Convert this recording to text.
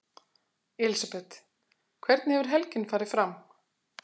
Elísabet: Hvernig hefur helgin farið fram?